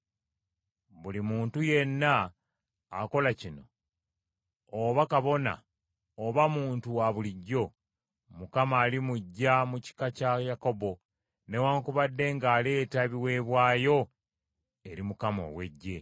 Buli muntu yenna akola kino, oba kabona oba muntu wa bulijjo, Mukama alimuggya mu kika kya Yakobo, newaakubadde ng’aleeta ebiweebwayo eri Mukama ow’Eggye!